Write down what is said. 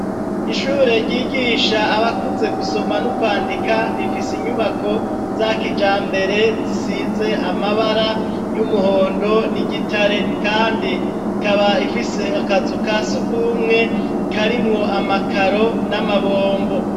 Ishure ryigisha abakuze gusoma no kwandika, rifise inyubako za kijambere zisize amabara y'umuhondo n'igitare, kandi ikaba ifise akazu kasigumwe karimwo amakaro n'amabombo.